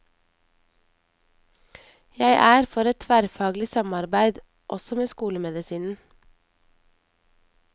Jeg er for et tverrfaglig samarbeid, også med skolemedisinen.